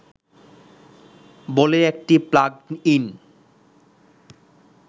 বলে একটি plug in